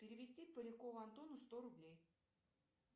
перевести полякову антону сто рублей